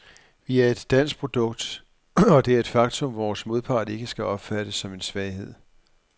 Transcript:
Vi er et dansk produkt, og det er et faktum, vores modpart ikke skal opfatte som en svaghed.